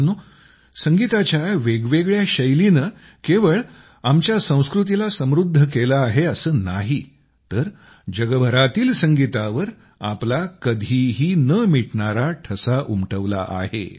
मित्रांनो संगीताच्या वेगवेगळ्य़ा शैलीनं केवळ आमच्या संस्कृतीला समृद्ध केलं आहे असं नाही तर जगभरातील संगीतावर आपला कधीही न मिटणारा ठसा उमटवला आहे